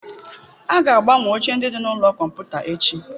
A ga-agbanwe oche ndị dị na ụlọ kọmputa echi.